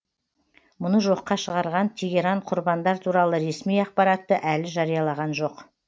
мұны жоққа шығарған тегеран құрбандар туралы ресми ақпаратты әлі жариялаған жоқ